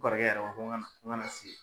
Kɔrɔkɛ yɛrɛ b'a f ko ŋana ŋana sigi ye